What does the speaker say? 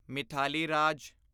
Mithali Raj